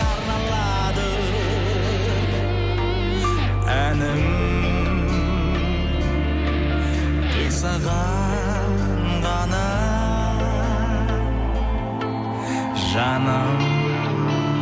арналады әнім тек саған ғана жаным